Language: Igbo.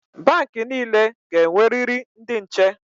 Bank niile ga-enweriri ndị nche.